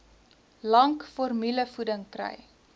lank formulevoeding kry